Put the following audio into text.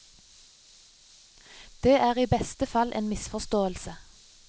Det er i beste fall en misforståelse.